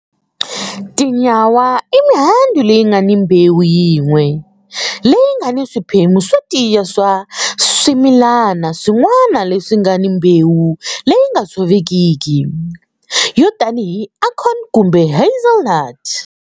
Tinyawa i mihandzu leyi nga ni mbewu yin'we, leyi nga ni swiphemu swo tiya swa swimilana swin'wana leswi nga ni mbewu leyi nga tshovekiki, yo tanihi acorn kumbe hazelnut.